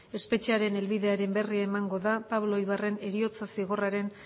espetxearen helbidearen berri emango da pablo ibarren heriotza zigorraren